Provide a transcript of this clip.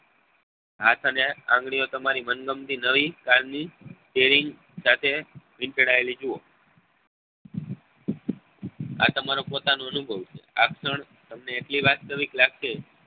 હાથ ને આંગળીઓ તમારી મનગમતી નવી સાથે વીંટળાયેલી જોવો આ તમારો પોતાનો અનુભવ છે આ ક્ષણ તમને એટલી વાસ્તવિક લાગશે